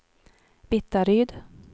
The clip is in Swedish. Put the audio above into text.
Vittaryd